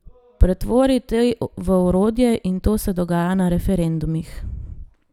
Pretvori te v orodje in to se dogaja na referendumih.